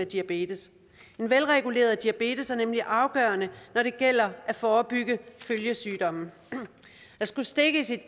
diabetes en velreguleret diabetes er nemlig afgørende når det gælder at forebygge følgesygdomme at skulle stikke sit